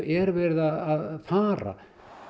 er verið að fara